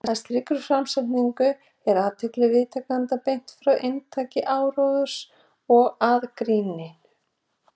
með slíkri framsetningu er athygli viðtakenda beint frá inntaki áróðursins og að gríninu